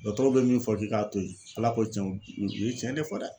Dɔgɔtɔrɔw bɛ min fɔ k'i k'a to yen ALA ko tiɲɛ u ye tiɲɛ de fɔ dɛ.